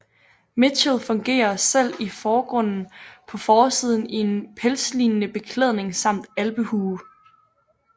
Mitchell figurerer selv i forgrunden på forsiden i en pelslignende beklædning samt alpehue